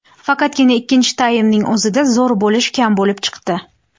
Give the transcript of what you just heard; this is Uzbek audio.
Faqatgina ikkinchi taymning o‘zida zo‘r bo‘lish kam bo‘lib chiqdi.